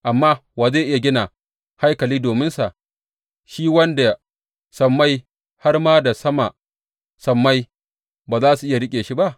Amma wa zai iya gina haikali dominsa, shi wanda sammai, har ma da sama sammai, ba za su iya riƙe shi ba?